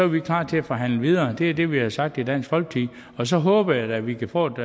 vi klar til at forhandle videre det er det vi har sagt i dansk folkeparti og så håber jeg da at vi kan få et